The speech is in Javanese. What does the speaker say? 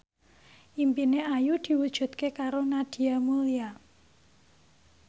impine Ayu diwujudke karo Nadia Mulya